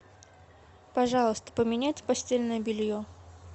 пожалуйста поменять постельное белье